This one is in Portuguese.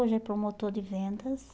Hoje ele é promotor de vendas.